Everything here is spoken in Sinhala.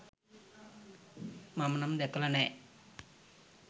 මම නම් දැකලා නෑ